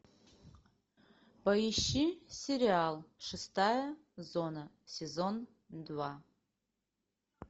поищи сериал шестая зона сезон два